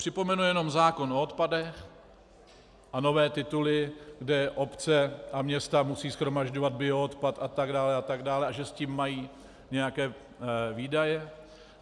Připomenu jenom zákon o odpadech a nové tituly, kde obce a města musí shromažďovat bioodpad, a tak dále a tak dále, a že s tím mají nějaké výdaje.